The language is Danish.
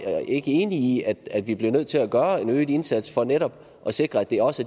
ikke enige i at vi bliver nødt til at gøre en øget indsats for netop at sikre at det også